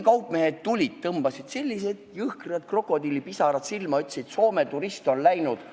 Kaupmehed tulid, pressisid jõhkrad krokodillipisarad silmadest välja ja ütlesid, et Soome turist on läinud.